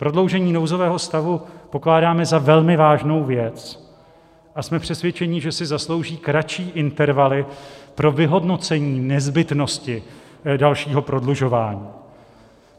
Prodloužení nouzového stavu pokládáme za velmi vážnou věc a jsme přesvědčeni, že si zaslouží kratší intervaly pro vyhodnocení nezbytnosti dalšího prodlužování.